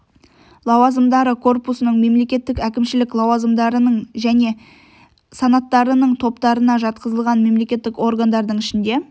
лауазымдары корпусының мемлекеттік әкімшілік лауазымдарының және санаттарының топтарына жатқызылған мемлекеттік органдардың ішінде